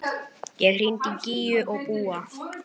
Ég hringdi í Gígju og Búa.